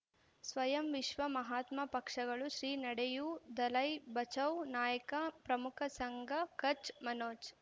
ಸ್ವಯಂ ವಿಶ್ವ ಮಹಾತ್ಮ ಪಕ್ಷಗಳು ಶ್ರೀ ನಡೆಯೂ ದಲೈ ಬಚೌ ನಾಯಕ ಪ್ರಮುಖ ಸಂಘ ಕಚ್ ಮನೋಜ್